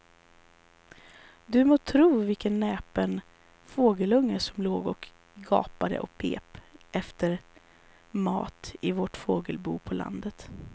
Du må tro vilken näpen fågelunge som låg och gapade och pep efter mat i vårt fågelbo på landet.